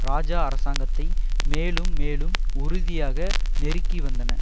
இராஜா அரசாங்கத்தை மேலும் மேலும் உறுதியாக நெருக்கி வந்தன